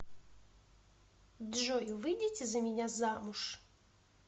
джой выйдите за меня замуж